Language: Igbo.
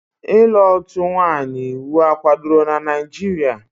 Ịlụ otu nwanyị iwu kwadoro na Naijiria?